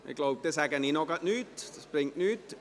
Dann sage ich noch nichts, das bringt nichts.